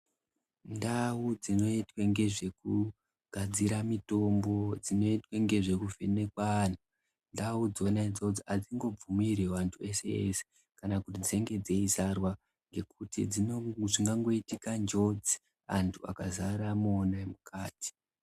Ndau dzinoitwe ngezvekugadzira mitombo dzinoitwa ngezve kuvheneka antu. Ndau dzona idzodzo hadzingobvumirwi antu vese-vese kana kuti dzinge dzeizarwa ngekuti zvingangoitika njodzi antu akazara mona mukati.